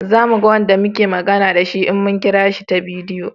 Za mu ga Wanda muke magana da shi in mun kira su ta bidiyo